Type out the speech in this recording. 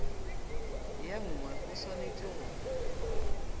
ye nngwe o swanetše go